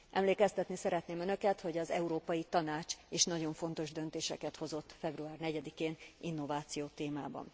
Emlékeztetni szeretném önöket, hogy az Európai Tanács is nagyon fontos döntéseket hozott február 4 én innováció témában.